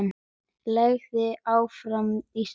Lagið Áfram Ísland!